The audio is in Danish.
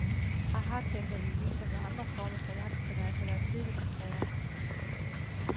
Aha, tænker vi, ligesom ved andre former for jagt skal man altså være tidligt på færde.